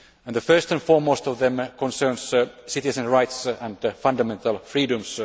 The first and foremost of them concerns citizens' rights and fundamental freedoms.